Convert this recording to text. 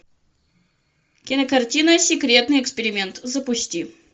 кинокартина секретный эксперимент запусти